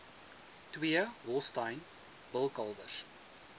twee holstein bulkalwers